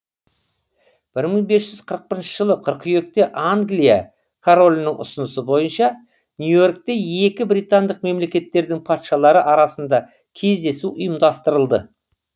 бір мың бес жүз қырық бірінші жылы қыркүйекте англия королінің ұсынысы бойынша нью йоркте екі британдық мемлекеттердің патшалары арасында кездесу ұйымдастырылды